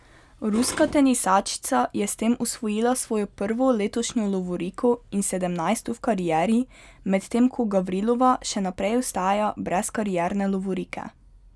Ruska tenisačica je s tem osvojila svojo prvo letošnjo lovoriko in sedemnajsto v karieri, medtem ko Gavrilova še naprej ostaja brez karierne lovorike.